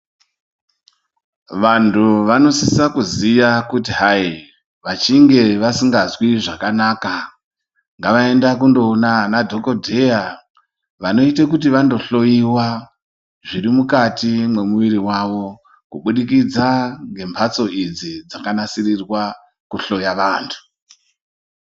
Vantu vanosisa kuziya kuti hai, vasingazwi zvakanaka, ngavaende kunoona madhogodheya vanoita kuti vandohloyiwa zvirimukati memwiri yavokubudikidza ngemhatso idzi dzakanasiririrwa kuhloya vantu.